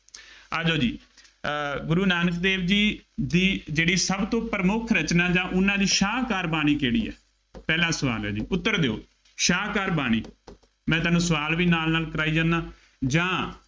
ਆ ਜਾਉ ਜੀ, ਅਰ ਗੁਰੂ ਨਾਨਕ ਦੇਵ ਜੀ ਦੀ ਜਿਹੜੀ ਸਭ ਤੋਂ ਪ੍ਰਮੁੱਖ ਰਚਨਾ ਜਾਂ ਉਹਨਾ ਦੀ ਸਾਹਕਾਰ ਬਾਣੀ ਕਿਹੜੀ ਹੈ। ਪਹਿਲਾ ਸਵਾਲ ਹੈ ਜੀ, ਉੱਤਰ ਦਿਉ। ਸਾਹਕਾਰ ਬਾਣੀ, ਮੈਂ ਤੁਹਾਨੂੰ ਸਵਾਲ ਵੀ ਨਾਲ ਨਾਲ ਕਰਾਈ ਜਾਂਦਾ ਜਾਂ